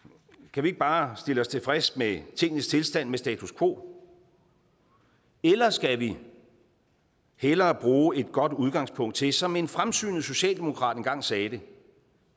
kan vi ikke bare stille os tilfreds med tingenes tilstand med status quo eller skal vi hellere bruge et godt udgangspunkt til som en fremsynet socialdemokrat engang sagde det